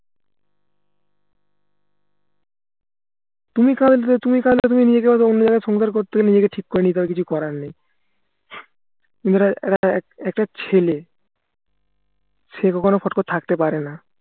তুমি কাঁদবে তুমি কাঁদলে তুমি নিজেকে ঠিক করে নিতে হবে কিছু করার নেই একটা ছেলে সে কখনো fraud করে থাকতে পারেনা